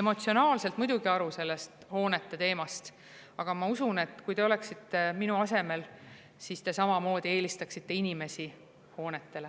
emotsionaalselt muidugi aru sellest hoonete teemast, aga ma usun, et kui te oleksite minu asemel, siis te samamoodi eelistaksite inimesi hoonetele.